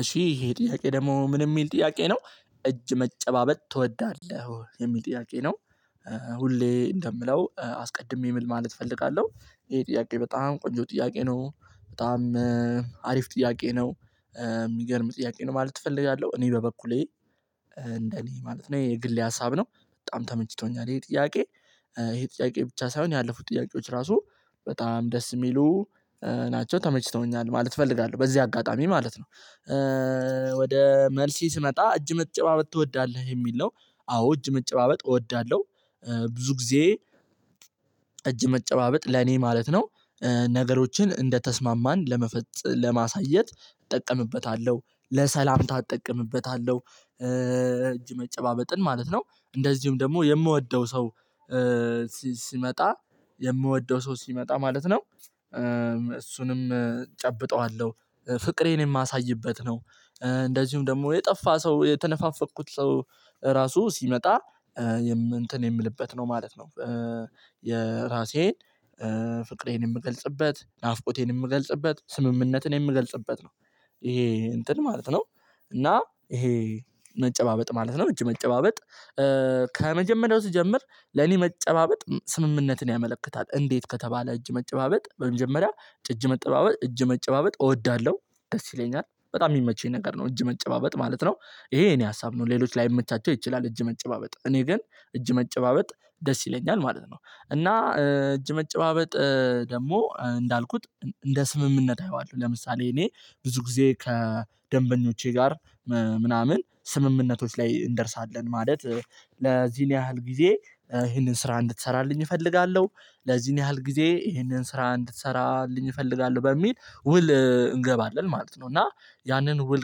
እሺ ይሄ ጥያቄ ደግሞ ምን ሚል ጥያቄ ነው? እጅ መጨባበጥ ትወዳለህ የሚል ጥያቄ ነው? ሁሌ እንደምለው አስቀድሜ ምን ማለት እፈልጋለሁ። ይሄ ጥያቄ በጣም ቆንጆ ጥያቄ ነው። በጣም አሪፍ ጥያቄ ነው። የሚገርም ጥያቄ ነው ማለት እፈልጋለሁ። እኔ በበኩሌ። እንደኔ ማለት ነው የኔግሌ ሀሳብ ነው በጣም ተመችቶኛል። ይሄ ጥያቄ? ይሄ ጥያቄ ብቻ ሳይሆን ያለፉት ጥያቄዎች ራሱ በጣም ደስ ሚሉ። ናቸው ተመችተውኛል ማለት እፈልጋለሁ በዚህ አጋጣሚ ማለት ነው። ወደ መልሲ ስመጣ እጅ መጨባበጥ እወዳለሁ የሚል ነው። አዎ እጅ መጨባበጥ እወዳለሁ። ብዙ ጊዜ እጅ መጨባበጥ ለኔ ማለት ነው። ነገሮችን እንደተስማማን ለመፈጽ ለማሳየት እጠቀምበታለሁ ለሰላምታ እጠቀምበታለሁ። እጅ መጨባበጥን ማለት ነው። እንደዚሁም ደግሞ የምወደው ሰው ሲመጣ የምወደው ሰው ሲመጣ ማለት ነው። እሱንም እጨብጠዋለሁ ፍቅሬን የማሳይበት ነው። እንደዚሁም ደግሞ የጠፋ ሰው የተነፋፈቅኩት ሰው ራሱ ሲመጣ እንትን የምልበት ነው ማለት ነው። የራሴን ፍቅሬን የምገልጽበት ናፍቆቴን የምገልጽበት ስምምነትን የምገልጽበት ነው። ይሄ እንትን ማለት ነው። እና ይሄ መጨባበጥ ማለት ነው እጅ መጨባበጥ። ከመጀመሪያው ስጀምር ለኔ መጨባበጥ ስምምነትን ያመለክታል። እንዴት ከተባለ እጅ መጨባበጥ በመጀመሪያ እጅ መጨባበጥ እጅ መጨባበጥ እወዳለሁ ደስ ይለኛል በጣም ሚመቸኝ ነገር ነው። እጅ መጨባበጥ ማለት ነው። ይሄ የኔ ሀሳብ ነው ሌሎች ላይመቻቸው ይችላል። እጅ መጨባበጥ እኔ ግን እጅ መጨባበጥ ደስ ይለኛል ማለት ነው። እና እጅ መጨባበጥ ደግሞ እንዳልኩት እንደ ስምምነት አየዋለሁ ለምሳሌ እኔ ብዙ ጊዜ ከደንበኞቼ ጋር። ምናምን ስምምነቶች ላይ እንደርሳለን ማለት። ለዚህን ያህል ጊዜ ይሄንን ስራ እንድትሰራልኝ እፈልጋለሁ ለዚህን ያህል ጊዜ ይሄንን ስራ እንድትሰራልኝ እፈልጋለሁ በሚል ውል እንገባለን ማለት ነው። እና ያንን ውል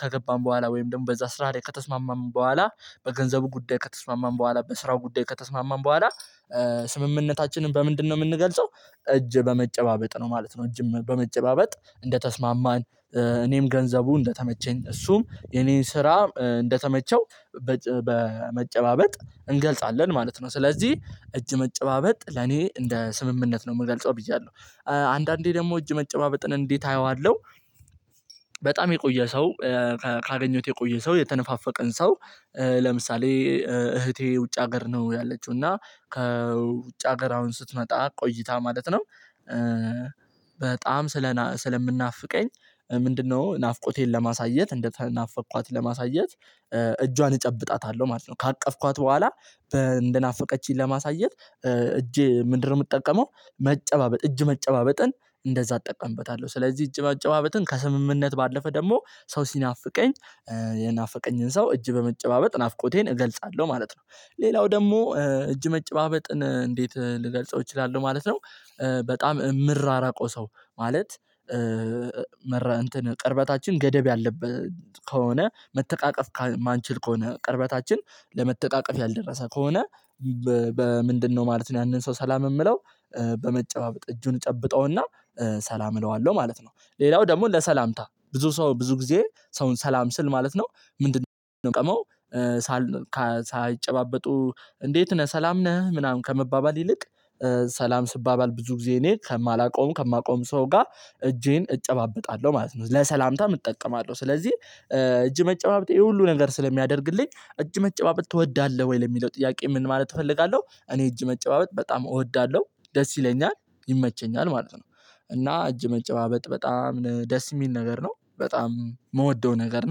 ከገባን በኋላ ወይም ደግሞ በዛ ስራ ላይ ከተስማማን በኋላ በገንዘቡ ጉዳይ ከተስማማን በኋላ በስራው ጉዳይ ከተስማማን በኋላ። ስምምነታችንን በምንድነው ምንገልጸው? እጅ በመጨባበጥ ነው ማለት ነው። እጅም በመጨባበጥ እንደተስማማን። እኔም ገንዘቡ እንደተመቸኝ እሱም የኔን ስራ እንደተመቸው። በመጨባበጥ እንገልጻለን ማለት ነው። ስለዚህ እጅ መጨባበጥ ለኔ እንደ ስምምነት ነው ምገልጸው ብያለሁ። አንዳንዴ ደግሞ እጅ መጨባበጥን እንዴት አየዋለሁ? በጣም የቆየ ሰው ካገኘሁት የቆየ ሰው የተነፋፈቀን ሰው። ለምሳሌ እህቴ ውጭ ሀገር ነው ያለችው እና ከውጭ ሀገር አሁን ስትመጣ ቆይታ ማለት ነው። በጣም ስለ ስለምናፍቀኝ ምንድነው ናፍቆቴን ለማሳየት እንደተናፈቅኳት ለማሳየት። እጇን እጨብጣታለሁ ማለት ነው። ካቀፍኳት በኋላ እንደናፈቀችኝ ለማሳየት እጄ ምንድነው ምጠቀመው? መጨባበጥ እጅ መጨባበጥን እንደዛ እጠቀምበታለሁ ስለዚህ እጅ መጨባበጥን ከስምምነት ባለፈ ደግሞ ሰው ሲናፍቀኝ የናፈቀኝን ሰው እጅ በመጨባበጥ ናፍቆቴን እገልጻለሁ ማለት ነው። ሌላው ደግሞ እጅ መጨባበጥን እንዴት ልገልጸው እችላለሁ ማለት ነው። በጣም ምራራቀው ሰው ማለት። መር እንትን ቅርበታችን ገደብ ያለበት ከሆነ መተቃቀፍ የማንችል ከሆነ ቅርበታችን ለመተቃቀፍ ያልደረሰ ከሆነ። በምንድነው ማለት ነው ያንን ሰው ሰላም የምለው። በመጨባበቅ እጁን ጨብጠውና ሰላም እለዋለሁ ማለት ነው። ሌላው ደግሞ ለሰላምታ ብዙ ሰው ብዙ ጊዜ ሰውን ሰላም ስል ማለት ነው። ምንድነው የምቀመው? ሳይጨባበጡ እንዴት ነህ ሰላም ነህ ምናምን ከመባባል ይልቅ። ሰላም ስባባል ብዙ ጊዜ እኔ ከማላውቀው ከማቀውም ሰው ጋር እጄን እጨባበጣለሁ ማለት ነው። ለሰላምታም እጠቀማለሁ ስለዚህ። እጅ መጨባበጥ ይሄ ሁሉ ነገር ስለሚያደርግልኝ እጅ መጨባበጥ ትወዳለሁ ወይ ለሚለው ጥያቄ ምን ማለት እፈልጋለሁ እኔ እጅ መጨባበጥ በጣም እወዳለሁ ደስ ይለኛል ይመቸኛል ማለት ነው። እና እጅ መጨባበጥ በጣም ደስ ሚል ነገር ነው በጣም ምወደው ነገር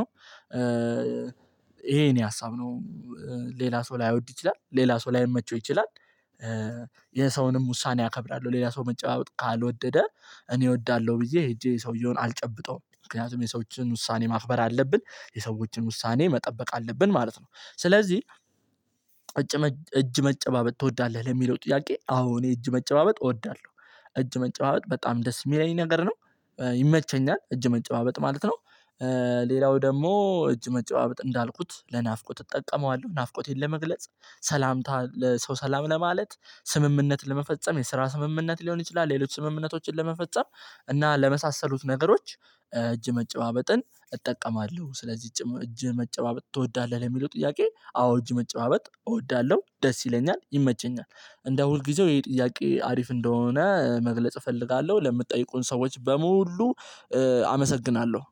ነው። ይሄ የኔ ሀሳብ ነው። ሌላ ሰው ላይ ላይወድ ይችላል ሌላ ሰው ላይ ላይመቸው ይችላል። የሰውንም ውሳኔ አከብራለሁ ሌላ ሰው መጨባበጥ ካልወደደ እኔ እወዳለሁ ብዬ ሄጄ ሰውየውን አልጨብጠውም ምክንያቱም የሰዎችን ውሳኔ ማክበር አለብን። የሰዎችን ውሳኔ መጠበቅ አለብን ማለት ነው። ስለዚህ እጅ መጨባበጥ ትወዳለህ ለሚለው ጥያቄ አዎ እኔ እጅ መጨባበጥ እወዳለሁ። እጅ መጨባበጥ በጣም ደስ የሚለኝ ነገር ነው። ይመቸኛል እጅ መጨባበጥ ማለት ነው። ደግሞ እጅ መጨባበጥ እንዳልኩት ለናፍቆት እጠቀመዋለሁ ናፍቆቴን ለመግለጽ ሰላምታ ለሰው ሰላም ለማለት ስምምነት ለመፈጸም የስራ ስምምነት ሊሆን ይችላል። ሌሎች ስምምነቶችን ለመፈጸም እና ለመሳሰሉት ነገሮች። እጅ መጨባበጥን እጠቀማለሁ ስለዚህ እጅ መጨባበጥ ትወዳለህ ለሚለው ጥያቄ አዎ እጅ መጨባበጥ እወዳለሁ ደስ ይለኛል ይመቸኛል። እንደ ሁልጊዜው ይሄ ጥያቄ አሪፍ እንደሆነ መግለጽ እፈልጋለሁ ለምትጠይቁን ሰዎች በሙሉ። አመሰግናለሁ